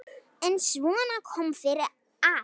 En svona kom fyrir alla.